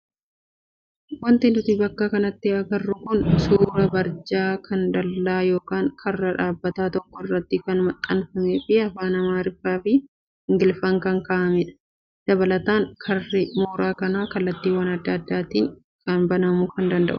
Wanti nuti bakka kanatti agarru kun suuraa barjaa kan dallaa yookaan karra dhaabbata tokkoo irratti kan maxxanfamee fi afaan amaariffaa fi ingiliffaan kan kaa'amedha. Dabalataan karri mooraa kanaa kallattiiwwan adda addaatti banamuu kan danda'udha.